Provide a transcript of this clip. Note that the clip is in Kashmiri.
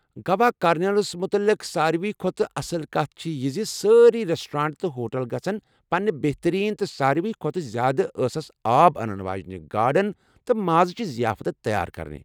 گوا کارنیولس متعلِق سارِوی کھۄتہٕ اصٕل کتھ چھےٚ یہِ زِ سٲری ریٚسٹورینٹ تہٕ ہوٹل گژھن پنٕنہِ بہتریٖن تہٕ ساروٕی کھۄتہٕ زیادٕ ٲسس آب انن واجِنہِ گاڈَن تہٕ مازٕچہِ ضیافتہٕ تیار کرٕنۍ ۔